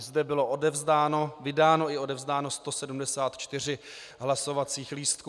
I zde bylo vydáno i odevzdáno 174 hlasovacích lístků.